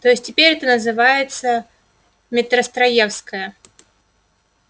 то есть теперь это называется метростроевская